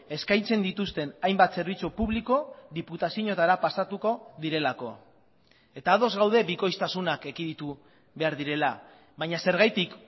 eskaintzen dituzten hainbat zerbitzu publiko diputazioetara pasatuko direlako eta ados gaude bikoiztasunak ekiditu behar direla baina zergatik